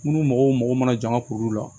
Munnu mɔgɔw mago mana jama kuru la